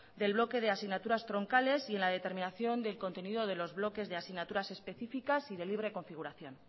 del bloque de asignaturas troncales y en la determinación del contenido de los bloques de asignaturas específicas y de libre configuración